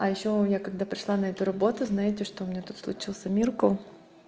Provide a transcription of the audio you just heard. а ещё я когда пришла на эту работу знаете что у меня тут случился миркл